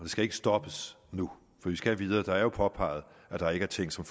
skal ikke stoppes nu for vi skal videre det er jo påpeget at der er ting som